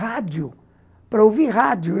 Rádio, para ouvir rádio.